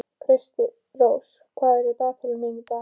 Kristrós, hvað er á dagatalinu í dag?